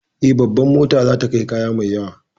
Eh, Babar motar za ta kai kaya mai yawa